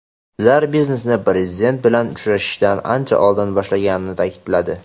ular biznesni Prezident bilan uchrashishdan ancha oldin boshlaganini ta’kidladi.